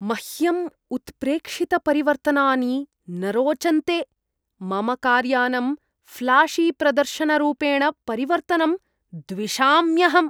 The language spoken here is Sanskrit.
मह्यम् उत्प्रेक्षितपरिवर्तनानि न रोचन्ते, मम कार्यानम् ऴ्लाशीप्रदर्शनरूपेण परिवर्तनं द्विषाम्यहम्।